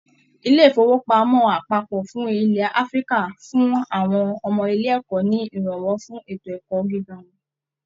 Ilé ifowopamọ àpapọ fún ilẹ Áfíríkà fún àwọn ọmọ ilé ẹkọ ní iranwọ fún ètò ẹkọ gíga wọn.